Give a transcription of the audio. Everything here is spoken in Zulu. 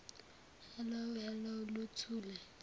hallo hallo luthule